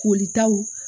Kolitaw